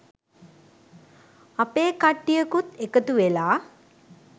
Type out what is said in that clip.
අපේ කට්ටියකුත් එකතු වෙලා